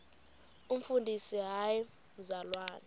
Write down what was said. umfundisi hayi mzalwana